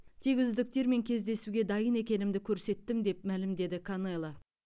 тек үздіктермен кездесуге дайын екенімді көрсеттім деп мәлімдеді канело